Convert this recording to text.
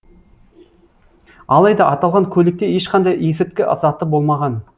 алайда аталған көлікте ешқандай есірткі заты болмаған